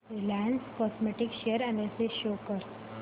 Reliance Chemotex share analysis show कर